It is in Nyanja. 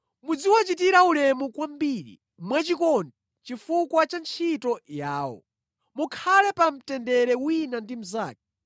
Muziwachitira ulemu kwambiri mwachikondi chifukwa cha ntchito yawo. Mukhale pa mtendere wina ndi mnzake.